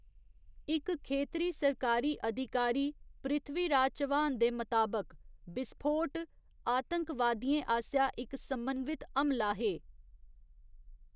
इक खेतरी सरकारी अधिकारी, पृथ्वीराज चव्हाण दे मताबक, विस्फोट ''आतंकवादियें आसेआ इक समन्वित हमला'' हे।